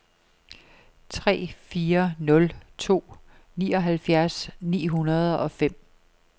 tre fire nul to nioghalvfjerds ni hundrede og fem